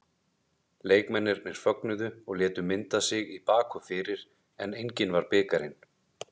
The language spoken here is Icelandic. Leikmennirnir fögnuðu og létu mynda sig í bak og fyrir en enginn var bikarinn.